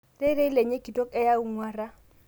Rerei lenye kitok eyeu lngwara